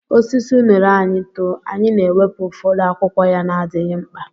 Osisi unere anyị too, anyị na-ewepụ ụfọdụ akwụkwọ ya na-adịghị mkpa.